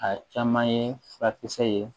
A caman ye furakisɛ ye